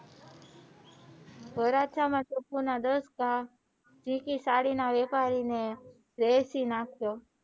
વરાછા માં ટોપો ના દસ ઘા સાડી ના વહેપારીને વેચી નાખ્યો.